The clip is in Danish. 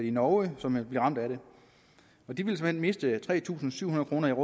i norge og som vil blive ramt af det de vil såmænd miste tre tusind syv hundrede